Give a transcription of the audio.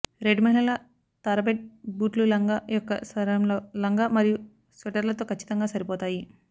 red మహిళల తారబెట్ బూట్లు లంగా యొక్క స్వరంలో లంగా మరియు స్వెటర్లతో ఖచ్చితంగా సరిపోతాయి